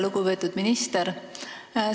Lugupeetud minister!